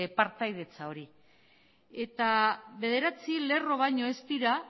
partaidetza hori eta bederatzi lerro baino ez dira